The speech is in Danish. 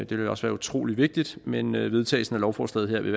vil også være utrolig vigtigt men men vedtagelsen af lovforslaget her vil